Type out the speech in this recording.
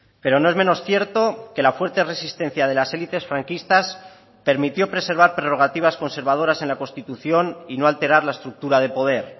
pero no es menos cierto que la fuerte resistencia de las élites franquistas permitió preservar prerrogativas conservadoras en la constitución y no alterar la estructura de poder